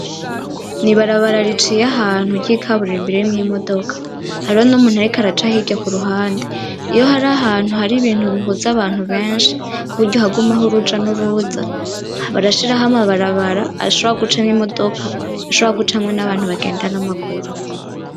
N'ibarabara riciye ahantu ry'ikaburimbi ririmwo imodoka, hariho n'umuntu ariko araca hirya kuruhande, iyo hari ahantu hari ibintu bihuza abantu beshi kuburyo hagumaho uruja n'uruza barashiraho amabarabara ashobora gucamwo imodoka ashobora gucamwo n'abantu bagenda n'amaguru.